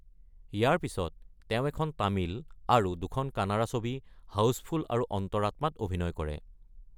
ইয়াৰ পিছত তেওঁ এখন তামিল আৰু দুখন কানাড়া ছবি, হাউচফুল আৰু অন্তৰাত্মা-ত অভিনয় কৰে।